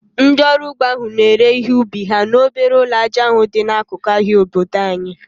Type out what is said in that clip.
Ndị ọrụ ugbo ahụ na-ere ihe ubi ha n'obere ụlọ aja dị n'akụkụ ahịa obodo anyị